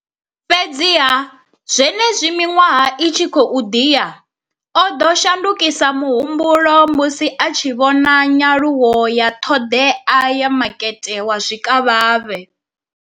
Fhedziha, zwenezwi miṅwaha i tshi khou ḓi ya, o ḓo shandukisa muhumbulo musi a tshi vhona nyaluwo ya ṱhoḓea ya makete wa zwikavhavhe.